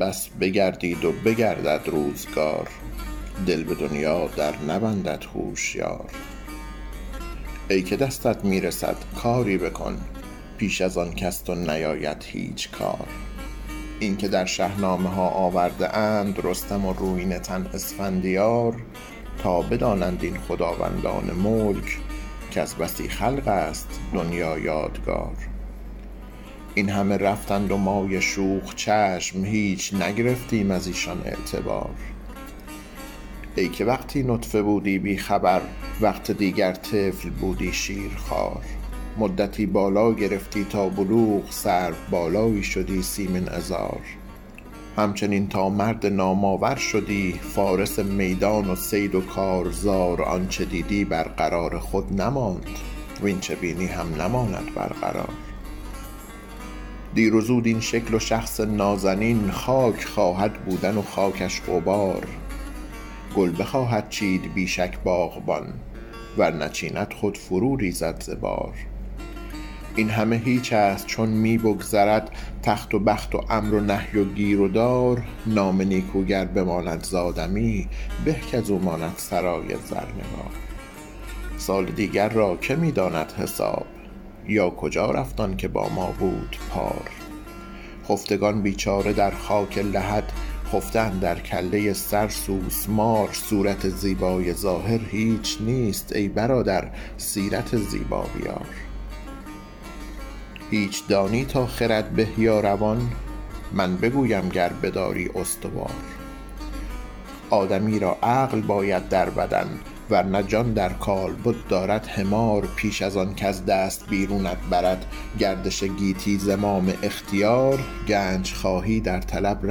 بس بگردید و بگردد روزگار دل به دنیا در نبندد هوشیار ای که دستت می رسد کاری بکن پیش از آن کز تو نیاید هیچ کار اینکه در شهنامه ها آورده اند رستم و رویینه تن اسفندیار تا بدانند این خداوندان ملک کز بسی خلق است دنیا یادگار این همه رفتند و مای شوخ چشم هیچ نگرفتیم از ایشان اعتبار ای که وقتی نطفه بودی بی خبر وقت دیگر طفل بودی شیرخوار مدتی بالا گرفتی تا بلوغ سرو بالایی شدی سیمین عذار همچنین تا مرد نام آور شدی فارس میدان و صید و کارزار آنچه دیدی بر قرار خود نماند واین چه بینی هم نماند بر قرار دیر و زود این شکل و شخص نازنین خاک خواهد بودن و خاکش غبار گل بخواهد چید بی شک باغبان ور نچیند خود فرو ریزد ز بار این همه هیچ است چون می بگذرد تخت و بخت و امر و نهی و گیر و دار نام نیکو گر بماند زآدمی به کاز او ماند سرای زرنگار سال دیگر را که می داند حساب یا کجا رفت آن که با ما بود پار خفتگان بیچاره در خاک لحد خفته اندر کله سر سوسمار صورت زیبای ظاهر هیچ نیست ای برادر سیرت زیبا بیار هیچ دانی تا خرد به یا روان من بگویم گر بداری استوار آدمی را عقل باید در بدن ور نه جان در کالبد دارد حمار پیش از آن کز دست بیرونت برد گردش گیتی زمام اختیار گنج خواهی در طلب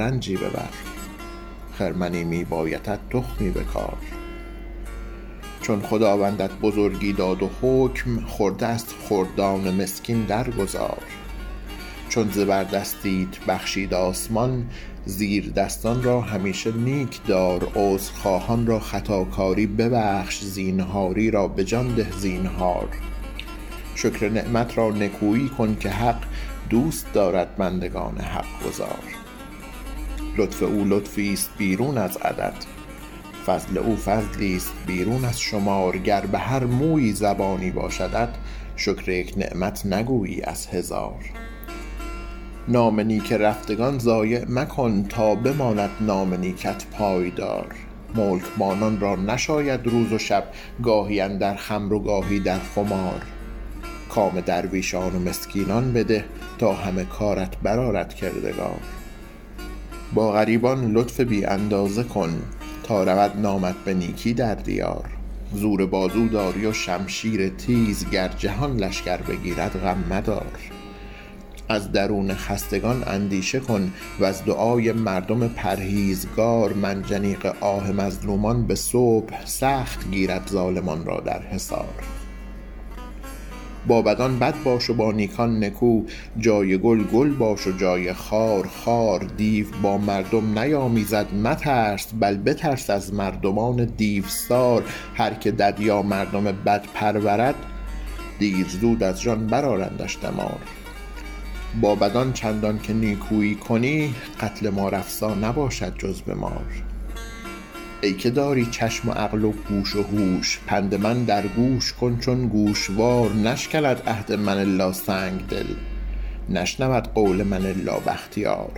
رنجی ببر خرمنی می بایدت تخمی بکار چون خداوندت بزرگی داد و حکم خرده از خردان مسکین در گذار چون زبردستیت بخشید آسمان زیردستان را همیشه نیک دار عذرخواهان را خطاکاری ببخش زینهاری را به جان ده زینهار شکر نعمت را نکویی کن که حق دوست دارد بندگان حقگزار لطف او لطفیست بیرون از عدد فضل او فضلیست بیرون از شمار گر به هر مویی زبانی باشدت شکر یک نعمت نگویی از هزار نام نیک رفتگان ضایع مکن تا بماند نام نیکت پایدار ملکبانان را نشاید روز و شب گاهی اندر خمر و گاهی در خمار کام درویشان و مسکینان بده تا همه کارت بر آرد کردگار با غریبان لطف بی اندازه کن تا رود نامت به نیکی در دیار زور بازو داری و شمشیر تیز گر جهان لشکر بگیرد غم مدار از درون خستگان اندیشه کن وز دعای مردم پرهیزگار منجنیق آه مظلومان به صبح سخت گیرد ظالمان را در حصار با بدان بد باش و با نیکان نکو جای گل گل باش و جای خار خار دیو با مردم نیامیزد مترس بل بترس از مردمان دیوسار هر که دد یا مردم بد پرورد دیر زود از جان بر آرندش دمار با بدان چندان که نیکویی کنی قتل مار افسا نباشد جز به مار ای که داری چشم عقل و گوش هوش پند من در گوش کن چون گوشوار نشکند عهد من الا سنگدل نشنود قول من الا بختیار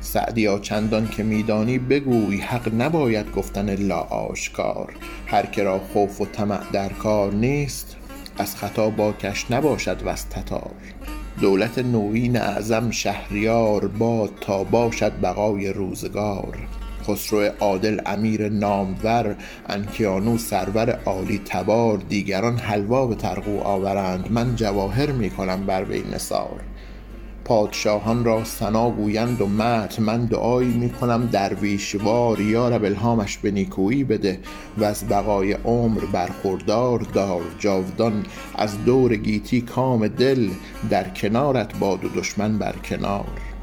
سعدیا چندان که می دانی بگوی حق نباید گفتن الا آشکار هر که را خوف و طمع در کار نیست از ختا باکش نباشد وز تتار دولت نویین اعظم شهریار باد تا باشد بقای روزگار خسرو عادل امیر نامور انکیانو سرور عالی تبار دیگران حلوا به طرغو آورند من جواهر می کنم بر وی نثار پادشاهان را ثنا گویند و مدح من دعایی می کنم درویش وار یارب الهامش به نیکویی بده وز بقای عمر برخوردار دار جاودان از دور گیتی کام دل در کنارت باد و دشمن بر کنار